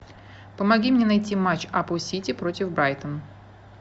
помоги мне найти матч апл сити против брайтон